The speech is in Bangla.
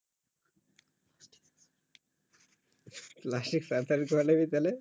plastic surgery এ কহলিবি তালে